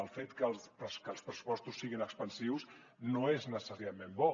el fet que els pressupostos siguin expansius no és necessàriament bo